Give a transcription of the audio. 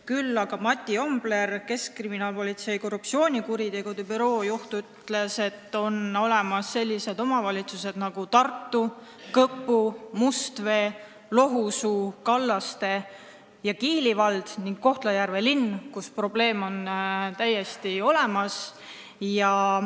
Küll aga ütles Mati Ombler, Keskkriminaalpolitsei korruptsioonikuritegude büroo juht, et on olemas sellised omavalitsused nagu Tartu, Kõpu, Mustvee, Lohusuu, Kallaste ja Kiili vald ning Kohtla-Järve linn, kus probleem on täiesti olemas.